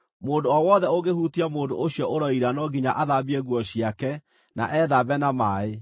“ ‘Mũndũ o wothe ũngĩhutia mũndũ ũcio ũroira no nginya athambie nguo ciake na ethambe na maaĩ,